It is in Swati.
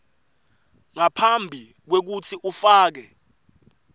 ngaphambi kwekutsi ufake